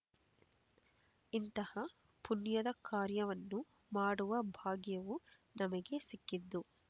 ಇಂತಹ ಪುಣ್ಯದ ಕಾರ್ಯವನ್ನು ಮಾಡುವ ಭಾಗ್ಯವು ನಮಗೆ ಸಿಕ್ಕಿದ್ದು